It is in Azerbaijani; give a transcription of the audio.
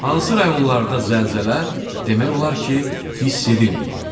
Hansı rayonlarda zəlzələ demək olar ki, hiss edilməyib?